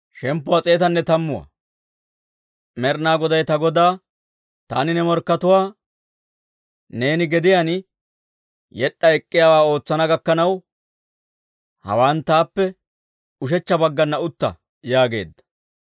Med'inaa Goday ta Godaa, «Taani ne morkkatuwaa neeni gediyaan yed'd'a ek'k'iyaawaa ootsana gakkanaw, hawaan taappe ushechcha baggana utta» yaageedda.